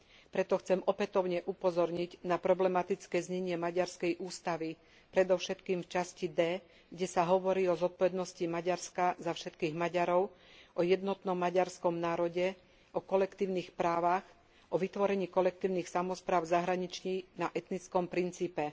Preto chcem opätovne upozorniť na problematické znenie maďarskej ústavy predovšetkým v časti D, kde sa hovorí o zodpovednosti Maďarska za všetkých Maďarov, o jednotnom maďarskom národe, o kolektívnych právach, o vytvorení kolektívnych samospráv v zahraničí na etnickom princípe.